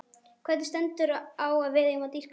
Hvergi stendur að við eigum að dýrka Maríu.